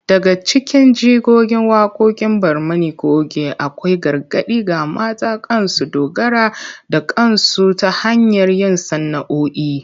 Daga cikin jigogin waqoqin Barmani coge akwai gargadi ga mata kan su dogara da kansu ta hanyar yin sana’’o’i